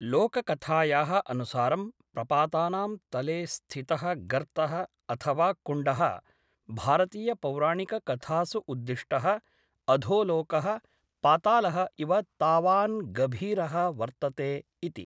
लोककथायाः अनुसारं प्रपातानां तले स्थितः गर्तः अथवा कुण्डः भारतीयपौराणिककथासु उद्दिष्टः अधोलोकः पातालः इव तावान् गभीरः वर्तते इति।